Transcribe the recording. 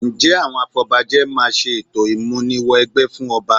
Ǹjẹ́ àwọn afọbajẹ máa ṣe ètò ìmúni wẹgbẹ́ fún ọba?